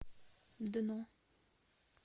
дно